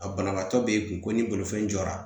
A banabaatɔ b'e kun ko ni bolifɛn jɔra